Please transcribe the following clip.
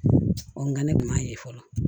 Ɔ nka ne tun b'a ye fɔlɔ